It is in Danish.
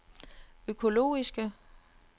økologiske